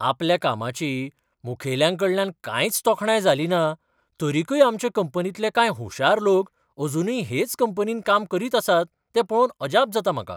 आपल्या कामाची मुखेल्यांकडल्यान कांयच तोखणाय जालिना, तरीकय आमचे कंपनींतले कांय हुशार लोक अजूनय हेच कंपनींत काम करीत आसात तें पळोवन अजाप जाता म्हाका.